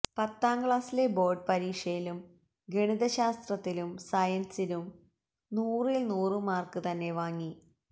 പത്താം ക്ലാസിലെ ബോര്ഡ് പരീക്ഷയിലും ഗണിതശാസ്ത്രത്തിനും സയന്സിനും നൂറില് നൂറു മാര്ക്ക് തന്നെ വാങ്ങി